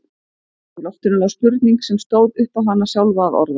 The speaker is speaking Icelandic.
Í loftinu lá spurning sem stóð upp á hana sjálfa að orða.